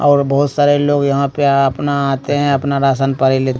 और बहोत सारे लोग यहां पे अपना आते हैं अपना राशन पानी ले--